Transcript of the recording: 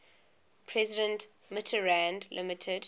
president mitterrand limited